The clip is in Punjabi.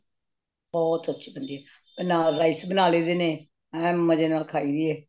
ਬਹੁਤ ਅੱਛੀ ਬੰਦੀ ਨੇ ਨਾਲ rice ਬਣਾ ਲੇਈ ਦੇਣੇ ਏ ਮੰਜੇ ਨਾਲ ਖਾਇ ਦੇਣੇ